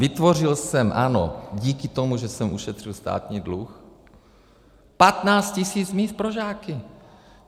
Vytvořil jsem, ano, díky tomu, že jsem ušetřil státní dluh, 15 tisíc míst pro žáky.